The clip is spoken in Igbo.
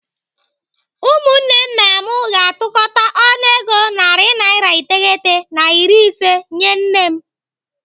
Ụmụnne m na mụ ga-atụkọta ọnụego narị naira iteghete na iri ise nyee nne m.